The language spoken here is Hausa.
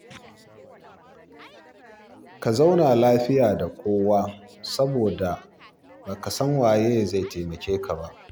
Ka zauna lafiya da kowa saboda ba ka san waye zai taimake ka ba.